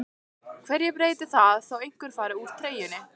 Hverju breytir það þó einhver fari úr treyjunni?